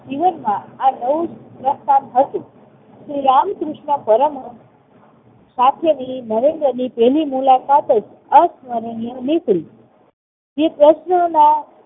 જીવનમાં આ નવું જ સોપાન હતું. શ્રી રામકૃષ્ણ પરમહંસ સાથેની નરેન્દ્રની પહેલી મુલાકાત જ અસ્મરણીય નીકળી. જે પ્રશ્નોના